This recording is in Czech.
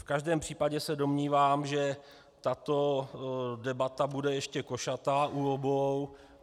V každém případě se domnívám, že tato debata bude ještě košatá u obou.